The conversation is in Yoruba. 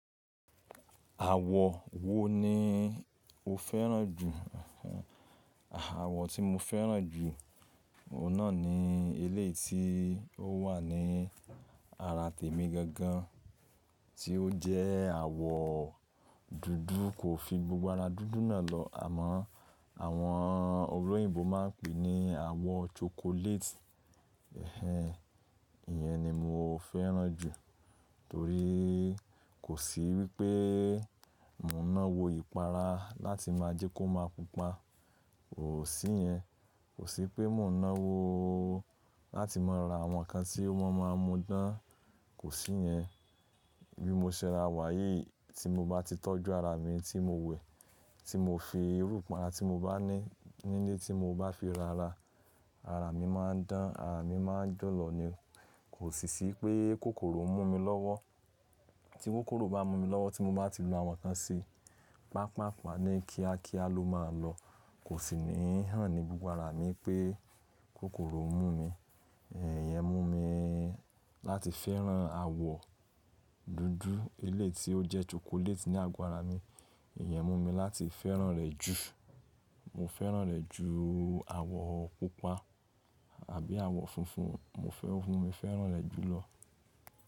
Àwọ̀ wo ni o fẹ́ràn jù? Àwọ̀ tí mo fẹ́ràn jù, ọ̀un nàa ni eléyii ti ó wà ní ara tèmi gangan tí ó jẹ́ àwọ̀ dúdú kò fi gbogbo ara dúdú náà lọ àmọ́ àwọn olóyìnbo máa ń pè é ní àwọ̀ chocolate. Ẹ̀h ẹ̀n, ìyẹn ni mo fẹ́ràn jù torí kò sí wípé mò ń náwo ìpara láti máa jẹ́ kó máa pupa, kò sí yẹn. Kò sí pé mò ń náwo láti máa ra àwọn nǹkan tí wọ́n máa mú dán, kò sí yẹn. Bí mo ṣẹ ra wá yìí tí mo bá ti tọ́jú ara mi tí mo wẹ̀, tí mo fi irú ìpara tí mo bá ní nílé tí mo bá fi rara, ara mi máa ń dán, ara mi máa ń jọ̀lọ̀ ni. Kò sì ṣí pé kòkòrò ń mú mi lọ́wọ́. Tí kòkòrò bá mú mi lọ́wọ́ tí mo bá ti lu àwọn kan sí, pàápàá pa ni kíákíá ló máa lọ. Kò sì ní hàn ní gbogbo ara mi pé kòkòrò mú mi. Ẹ̀h, ìyẹn mú mi láti fẹ́ràn àwọ̀ dúdú elééti ó jẹ́ chocolate ni àgbo ara mi. Ìyẹn mú mi láti fẹ́ràn rẹ̀ jù. Mo fẹ́ràn rẹ̀ jù àwọ̀ pupa àbí àwọ̀ funfun. Mo fẹ́, mo fẹ́ràn rẹ̀ jùlọ.